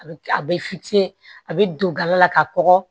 A bɛ a bɛ fitinin a bɛ don gala la ka kɔgɔ